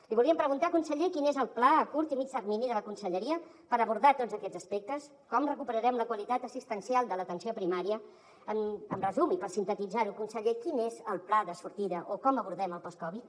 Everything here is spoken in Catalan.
li voldríem preguntar conseller quin és el pla a curt i mitjà termini de la conselleria per abordar tots aquests aspectes com recuperarem la qualitat assistencial de l’atenció primària en resum i per sintetitzar ho conseller quin és el pla de sortida o com abordem el postcovid